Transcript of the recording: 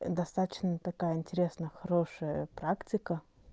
достаточно такая интересная хорошая практика